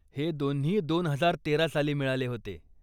हे दोन्ही दोन हजार तेरा साली मिळाले होते.